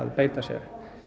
beita sér